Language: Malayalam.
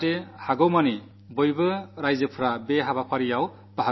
ഈയിടെ ശുചിത്വ സംബന്ധിച്ച സർവ്വേയും നടക്കുന്നുണ്ട്